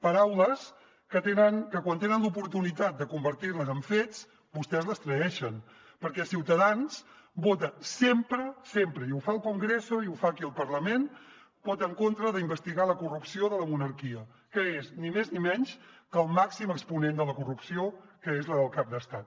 paraules que quan tenen l’oportunitat de convertir les en fets vostès traeixen perquè ciutadans vota sempre sempre i ho fa al congreso i ho fa aquí al parlament en contra d’investigar la corrupció de la monarquia que és ni més ni menys que el màxim exponent de la corrupció que és la del cap d’estat